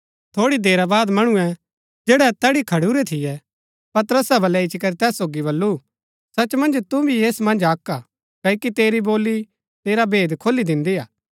थोड़ी देरा बाद मणुऐ जैड़ै तैड़ी खडुरै थियै पतरस बलै इच्ची करी तैस सोगी बल्लू सच मन्ज तु भी ऐस मन्ज अक्क हा क्ओकि तेरी बोली तेरा भेद खोली दिन्दी हा